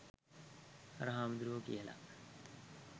අර හාමුදුරුවෝ කියලා.